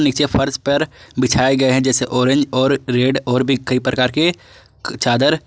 नीचे फर्श पर बिछाए गए हैं जैसे ऑरेंज और रेड और भी कई प्रकार के चादर।